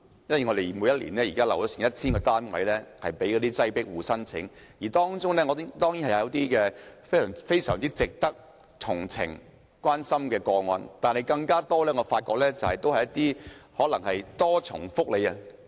每年有 1,000 個單位供"擠迫戶"申請，當然，當中有非常值得同情和關心的個案，但我發現很多個案涉及可能享有"多重福利"的人士。